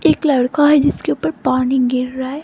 एक लड़का है जिसके ऊपर पानी गिर रहा है।